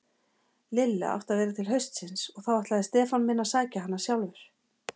Lilla átti að vera til haustsins og þá ætlaði Stefán minn að sækja hana sjálfur.